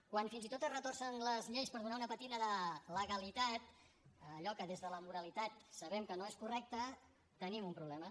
quan fins i tot es retorcen les lleis per donar una pàtina de legalitat a allò que des de la moralitat sabem que no és correcte tenim un problema